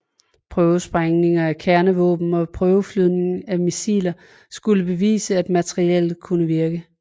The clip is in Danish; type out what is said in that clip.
Prøvesprængninger af kernevåben og prøveflyvning af missilerne skulle bevise at materiellet ville kunne virke